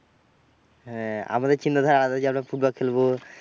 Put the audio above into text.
হ্যাঁ আমাদের চিন্তাধারা আমরা যে ফুটবল খেলবো।